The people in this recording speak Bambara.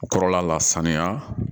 O kɔrɔla la sanuya